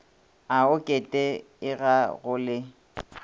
a oket ega go le